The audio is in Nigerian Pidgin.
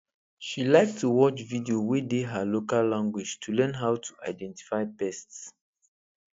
she like to watch video wey dey her local language to learn how to identify pests